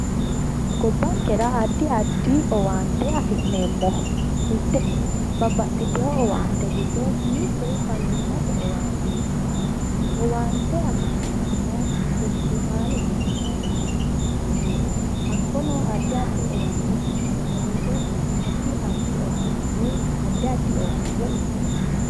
Gobbankera addi addi owaante afi'neemmo owaantete giddo faayimate owaante mitete hakko ha'ne owaante afi'neemmo woyte addi addi owaante faayimmate oggeeyye uyittanonke